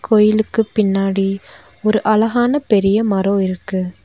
கோயிலுக்கு பின்னாடி ஒரு அழகான பெரிய மரொ இருக்கு.